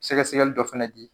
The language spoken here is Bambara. Sɛgɛsɛgɛli dɔ fɛnɛ di